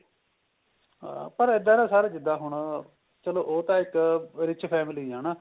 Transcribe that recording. ਹਾਂ ਪਰ ਇੱਦਾ ਨਾ ਸਾਰੇ ਜਿੱਦਾ ਹੁਣ ਚਲੋ ਉਹ ਤਾਂ ਇੱਕ rich family ਏ ਹਨਾ